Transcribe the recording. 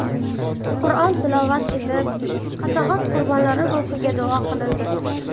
Qur’on tilovat etilib, qatag‘on qurbonlari ruhiga duo qilindi.